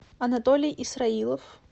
анатолий исраилов